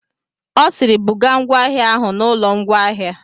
Ọ sịịrị, bugaa ngwa ahịa ahụ n'ụlọ ngwaahịa.